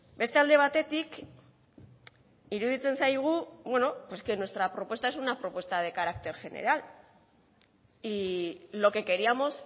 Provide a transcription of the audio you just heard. beste alde batetik iruditzen zaigu pues que nuestra propuesta es una propuesta de carácter general y lo que queríamos